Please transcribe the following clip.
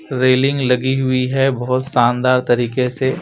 railing लगी हुई है बहोत शानदार तरीके से--